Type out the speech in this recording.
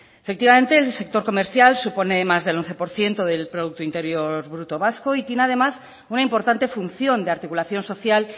efectivamente el sector comercial supone el más del once por ciento del producto interior bruto vasco y tiene además una importante función de articulación social